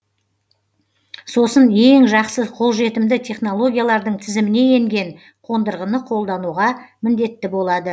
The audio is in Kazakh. сосын ең жақсы қолжетімді технологиялардың тізіміне енген қондырғыны қолдануға міндетті болады